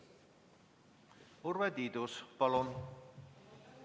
Urve Tiidus, palun!